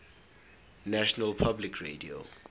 national public radio